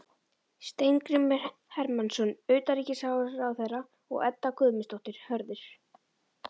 Steingrímur Hermannsson utanríkisráðherra og Edda Guðmundsdóttir, Hörður